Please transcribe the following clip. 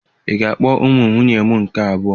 Ị ga-akpọ ụmụ nwunye m nke abụọ!